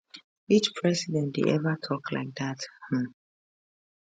which president dey ever tok like dat um